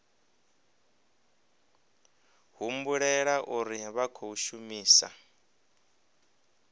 humbulela uri vha khou shumisa